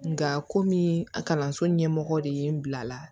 Nka komi kalanso ɲɛmɔgɔ de ye n bila la